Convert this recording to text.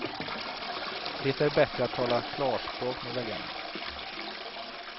Det är bättre att tala klarspråk med väljarna.